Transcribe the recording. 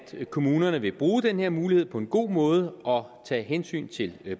kommunerne vil bruge den her mulighed på en god måde og tage hensyn til